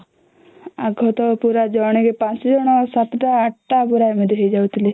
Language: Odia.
ଆଗ ତ ପୁରା ଜଣକେ ପାଞ୍ଚ ଜଣ ସାତ ଟା ଆଠ ଟା ପୁରା ଏମିତି ହେଇ ଯାଉଥିଲେ